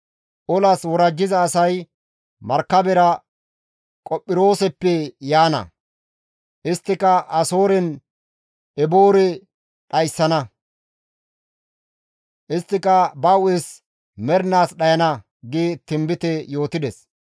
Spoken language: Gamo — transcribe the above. Olas worajjiza asay markabera Qophirooseppe yaana; isttika Asoorenne Eboore dhayssana; isttika ba hu7es mernaas dhayana» gi tinbite yootides.